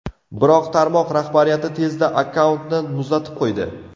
Biroq tarmoq rahbariyati tezda akkauntni muzlatib qo‘ydi.